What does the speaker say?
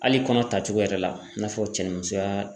Hali kɔnɔ tacogo yɛrɛ la i n'a fɔ cɛnni musoya